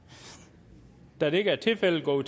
da dette ikke er tilfældet går